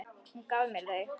Hún gaf mér þau.